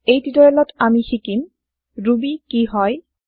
এই টিওটৰিয়েলত আমি শিকিম ৰুবি কি হয়160